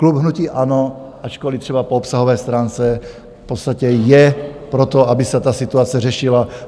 Klub hnutí ANO, ačkoliv třeba po obsahové stránce, v podstatě je pro to, aby se ta situace řešila.